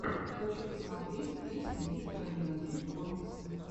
хочу посмотреть песня мистера нэгатив коммиксы